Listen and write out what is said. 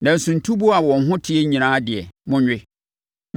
Nanso ntuboa a wɔn ho te nyinaa deɛ, monwe.